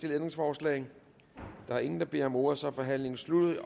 ændringsforslag der er ingen der beder om ordet så er forhandlingen sluttet